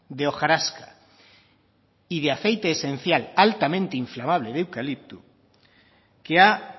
de hojarasca y de aceite esencial altamente inflamable de eucalipto que ha